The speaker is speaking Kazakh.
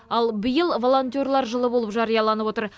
ал биыл волонтерлар жылы болып жарияланып отыр